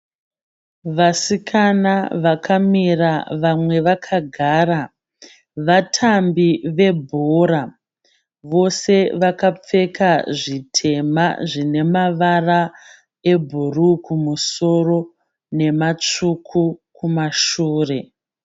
Vasikana vakamira vamwe vakagara. Vatambi vebhora. Vose vakapfeka zvitema zvine mavara ebhuruu kumusoro nematsvuku kumashure.